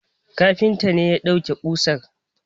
Kafintan ne ya dauke kusar